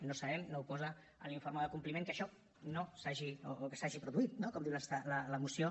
no ho sabem no ho posa en l’informe de compliment que això s’hagi produït no com diu la moció